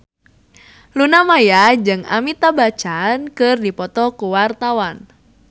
Luna Maya jeung Amitabh Bachchan keur dipoto ku wartawan